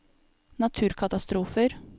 naturkatastrofer